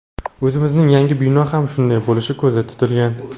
O‘zimizning yangi bino ham shunday bo‘lishi ko‘zda tutilgan.